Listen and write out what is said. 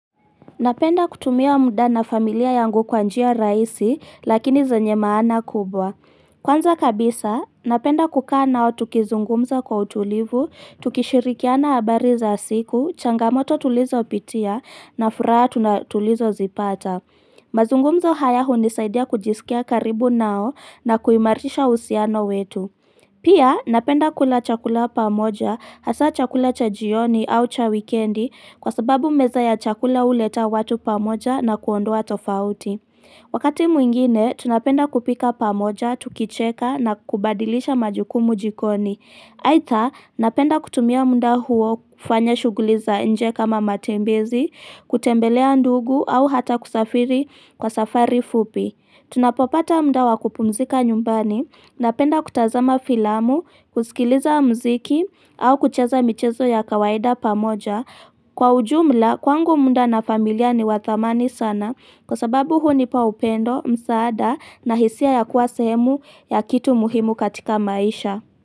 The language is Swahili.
Napenda kutumia muda na familia yangu kwa njia raisi, lakini zenye maana kubwa. Kwanza kabisa, napenda kukaa nao tukizungumza kwa utulivu, tukishirikiana habari za siku, changamoto tulizo pitia, na furaha tunatulizo zipata. Mazungumzo haya hunisaidia kujisikia karibu nao na kuimarisha usiano wetu. Pia, napenda kula chakula pamoja, hasa chakula cha jioni au cha wikendi kwa sababu meza ya chakula huleta watu pamoja na kuondoa tofauti. Wakati mwingine, tunapenda kupika pamoja, tukicheka na kubadilisha majukumu jikoni. Aitha, napenda kutumia muda huo kufanya shuguli za nje kama matembezi, kutembelea ndugu au hata kusafiri kwa safari fupi. Tunapopata muda wakupumzika nyumbani napenda kutazama filamu, kusikiliza mziki au kucheza michezo ya kawaida pamoja. Kwa ujumla, kwangu muda na familia ni wa thamani sana kwa sababu hunipa upendo, msaada na hisia ya kuwa sehemu ya kitu muhimu katika maisha.